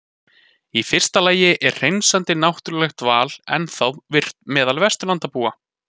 Í fyrsta lagi er hreinsandi náttúrulegt val ennþá virkt meðal Vesturlandabúa.